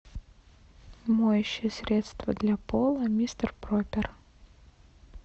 моющее средство для пола мистер пропер